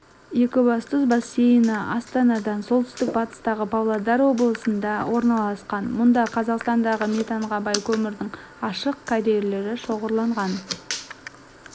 екібастұз бассейні астанадан солтүстік батыстағы павлодар облысында орналасқан мұнда қазақстандағы метанға бай көмірдің ашық карьерлері шоғырланған